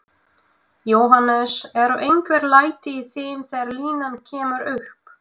Jóhannes: Eru einhver læti í þeim þegar línan kemur upp?